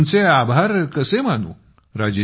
मी तुमचे आभार कसे मानू